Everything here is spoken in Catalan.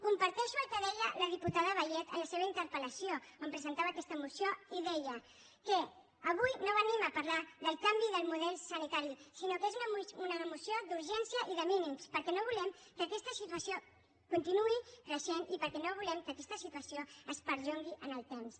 comparteixo el que deia la diputada vallet en la seva interpel·lació on presentava aquesta moció i deia que avui no venim a parlar del canvi de model sanitari sinó que és una moció d’urgència i de mínims perquè no volem que aquesta situació continuï creixent i perquè no volem que aquesta situació es perllongui en el temps